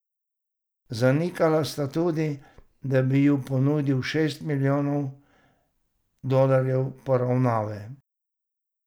Zanikala sta tudi, da bi ji ponudil šest milijonov dolarjev poravnave.